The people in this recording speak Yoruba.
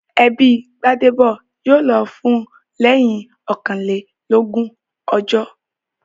Ẹbí Gbádébọ̀ yóò lọ fún lẹ́yìn ọkànlélógún ọjọ́